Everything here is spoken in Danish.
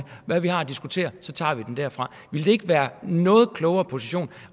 hvad vi har at diskutere og så tager vi den derfra ville det ikke være en noget klogere position